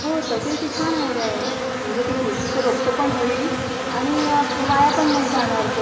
हो तशी छान आयडिया आहे, म्हणजे तुळशी चे रोप पण होईल आणि वाया पण नाही जाणार ते